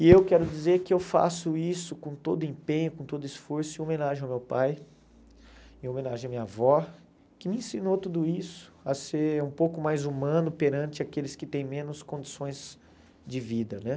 E eu quero dizer que eu faço isso com todo empenho, com todo esforço, em homenagem ao meu pai, em homenagem à minha avó, que me ensinou tudo isso, a ser um pouco mais humano perante aqueles que têm menos condições de vida né.